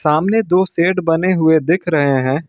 सामने दो शेड बने हुए दिख रहे है।